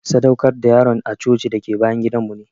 sadaukar da yaron a coci dake bayan gidan mu ne.